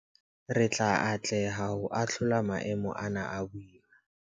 Re tla atleha ho ahlola maemo ana a boima.